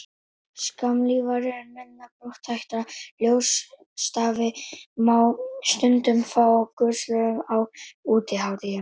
skammlífari en minna brothætta ljósstafi má stundum fá hjá götusölum á útihátíðum